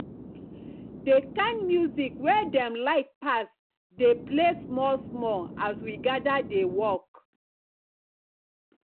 the kind music wey dem like pass dey play small small as we gather dey work